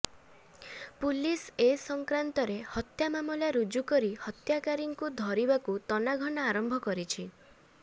police ଏ ସଂକ୍ରାନ୍ତରେ ହତ୍ୟା ମାମଲା ରୁଜୁ କରି ହତ୍ୟାକାରୀଙ୍କୁ ଧରିବାକୁ ତନାଘନା ଆରମ୍ଭ କରିଛି